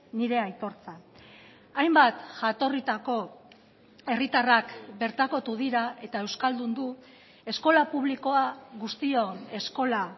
nire aitortza hainbat jatorritako herritarrak bertakotu dira eta euskaldundu eskola publikoa guztion eskola